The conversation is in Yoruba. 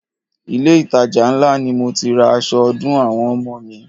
Ilé itàjà ńlá ni mo ti ra aṣọ ọdún àwọn ọmọ mi.